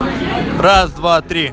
раз два три